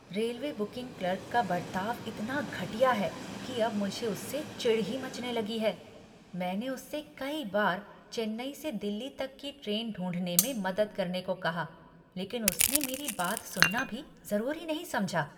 Railway booking clerk का बर्ताव इतना घटिया है कि अब मुझे उससे चिढ़ ही मचने लगी है, मैंने उससे कई बार चेन्नई से दिल्ली तक की ट्रेन ढूंढने में मदद करने को कहा, लेकिन उसने मेरी बात सुनना भी ज़रूरी नहीं समझा।